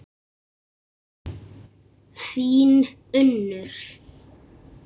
Þín Unnur.